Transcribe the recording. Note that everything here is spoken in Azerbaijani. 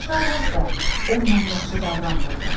Şarlot da onunla yaxşı davranmırdı.